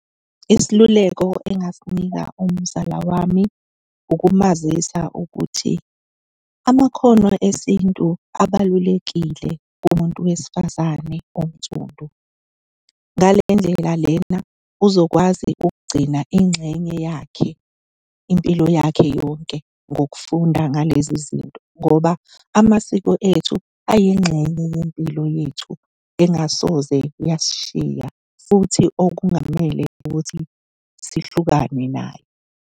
Isiluleko engasinika umzala wami, ukumazisa ukuthi amakhono esintu abalulekile kumuntu wesifazane onsundu. Ngale ndlela lena uzokwazi ukugcina ingxenye yakhe impilo yakhe yonke ngokufunda ngalezi zinto, ngoba amasiko ethu ayingxenye yempilo yethu engasoze yasishiya, futhi okungamele ukuthi sihlukane nayo.